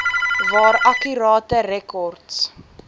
waar akkurate rekords